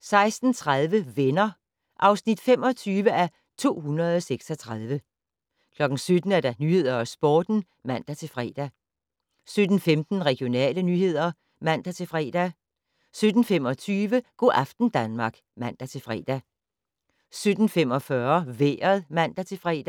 16:30: Venner (25:236) 17:00: Nyhederne og Sporten (man-fre) 17:15: Regionale nyheder (man-fre) 17:25: Go' aften Danmark (man-fre) 17:45: Vejret (man-fre)